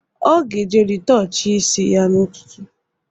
Ọ ga-eje rịtọchịa isi ya n'ụtụtụ